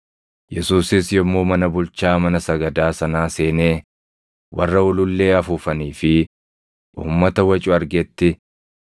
Yesuusis yommuu mana bulchaa mana sagadaa sanaa seenee warra ulullee afuufanii fi uummata wacu argetti,